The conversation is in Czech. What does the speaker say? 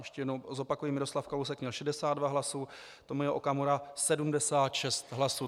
Ještě jednou zopakuji: Miroslav Kalousek měl 62 hlasů, Tomio Okamura 76 hlasů.